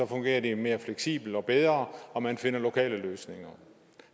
fungerer det mere fleksibelt og bedre og man finder lokale løsninger